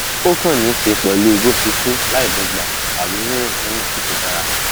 ó kàn níí ṣe pèlú bó ṣe ṣù láìdọgba tàbí rírìn lọnà tí kò dára